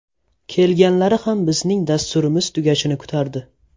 Kelganlari ham bizning dasturimiz tugashini kutardi.